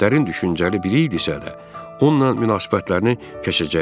Dərin düşüncəli biri idisə də, onunla münasibətlərini kəşəcəkdi.